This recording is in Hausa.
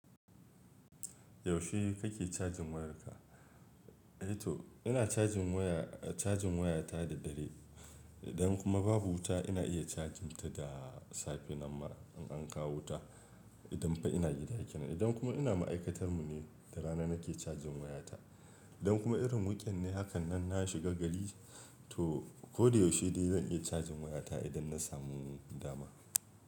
Yaushe kake cajin wayarka? Eh to ina cajin waya, cajin wayata da dare Idan kuma babu wuta, ina iya chajin ta da safe nan ma in an kawo wuta, idan fa ina gida kenan Idan kuma ina ma'aikatar mu ne, da rana nake cajin wayata. Idan kuma irin weekend ne hakan nan na shiga gari, to ko da yaushe dai zan iya cajin wayata idan na samu dama.